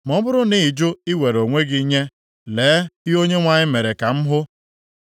Ma ọ bụrụ na ị jụ iwere onwe gị nye, lee ihe Onyenwe anyị mere ka m hụ: